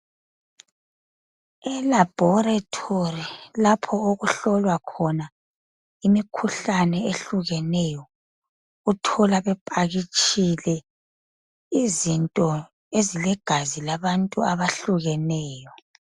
Elabholetholi lapho okuhlolwa khona imikhuhlane ehlukeneyo. Uthola bephakitshile izinto ezilegazi labantu abahlukeneyo.